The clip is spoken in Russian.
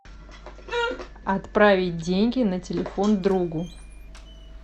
отправить деньги на телефон другу